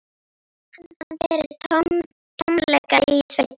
Hann fann fyrir tómleika í sveitinni.